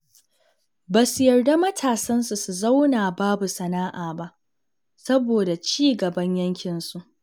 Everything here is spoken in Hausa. Ba su yarda matasansu sun zauna babu sana'a ba saboda cigaban yankinsu.